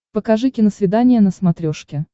покажи киносвидание на смотрешке